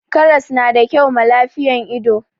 karras na da kyau ma lafiyan ido